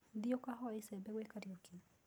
Thiĩ ũkahoe icembe gwĩ Kariuki.